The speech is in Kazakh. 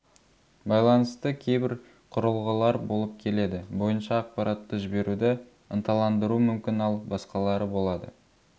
байланысты кейбір құрылғылар болып келеді бойынша ақпаратты жіберуді ынталандыру мүмкін ал басқалары болады